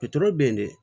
bɛ yen de